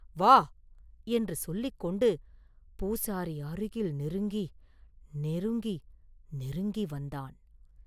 வா!” என்று சொல்லிக் கொண்டு பூசாரி அருகில் நெருங்கி, நெருங்கி, நெருங்கி வந்தான்.